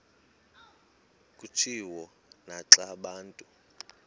kutshiwo naxa abantu